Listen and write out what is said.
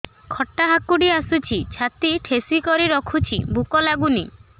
ଖଟା ହାକୁଟି ଆସୁଛି ଛାତି ଠେସିକରି ରଖୁଛି ଭୁକ ଲାଗୁନି